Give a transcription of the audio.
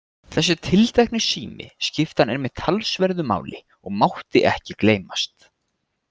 Þessi tiltekni sími skipti hann einmitt talsverðu máli og mátti ekki gleymast.